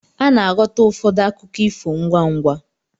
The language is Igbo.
Ana-aghọta ụfọdụ akụkọ ifo ngwá ngwá.